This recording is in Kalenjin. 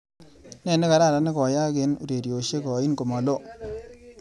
Nee nekararan nekoyaak eng ureryoshek ain komaloo?